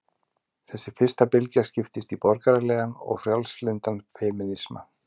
Þessi fyrsta bylgja skiptist í borgaralegan og frjálslyndan femínisma.